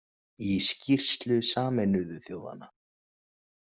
Í skýrslu Sameinuðu þjóðanna.